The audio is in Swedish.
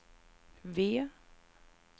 V